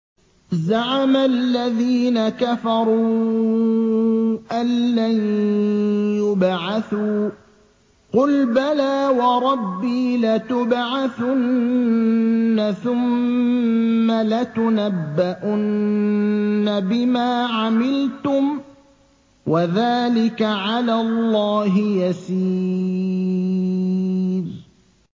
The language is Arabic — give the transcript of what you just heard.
زَعَمَ الَّذِينَ كَفَرُوا أَن لَّن يُبْعَثُوا ۚ قُلْ بَلَىٰ وَرَبِّي لَتُبْعَثُنَّ ثُمَّ لَتُنَبَّؤُنَّ بِمَا عَمِلْتُمْ ۚ وَذَٰلِكَ عَلَى اللَّهِ يَسِيرٌ